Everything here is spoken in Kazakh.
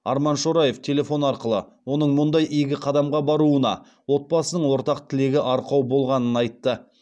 арман шораев телефон арқылы оның мұндай игі қадамға баруына отбасының ортақ тілегі арқау болғанын айтты